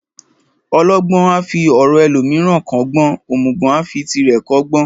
Ọlọgbọ́n a fi ọ̀ràn ẹlòmíràn kọ́gbọ́n, òmùgọ̀ a fi tirẹ̀ kọ́gbọ́n.